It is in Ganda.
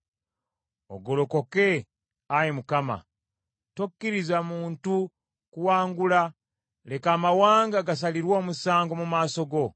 Ogolokoke, Ayi Mukama , tokkiriza muntu kuwangula; leka amawanga gasalirwe omusango mu maaso go.